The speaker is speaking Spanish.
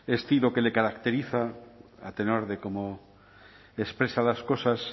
estilo que le caracteriza a tenor de cómo expresa las cosas